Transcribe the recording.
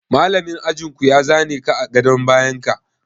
Malamin ajin ku ya za ne ka a gadon bayan ka?